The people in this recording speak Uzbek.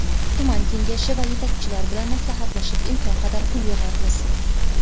Tuman kengashi va yetakchilar bilan maslahatlashib imkon qadar pul yig‘yapmiz.